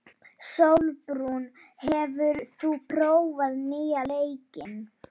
Sólbrún, hefur þú prófað nýja leikinn?